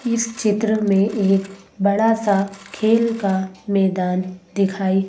इस चित्र में एक बड़ा सा खेल का मैदान दिखाई--